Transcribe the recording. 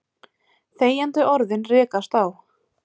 Þegjandi orðin rekast á.